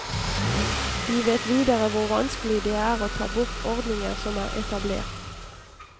Vi vet videre hvor vanskelig det er å ta bort ordninger som er etablert.